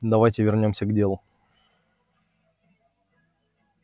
давайте вернёмся к делу